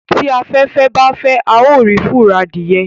tí aféfé bá fè ào rí furo Adìye